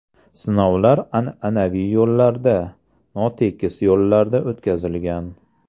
Sinovlar an’anaviy yo‘llarda, notekis yo‘llarda o‘tkazilgan.